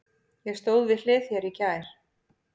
Ég stóð við hlið þér í gær.